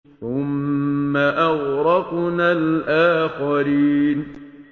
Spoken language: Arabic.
ثُمَّ أَغْرَقْنَا الْآخَرِينَ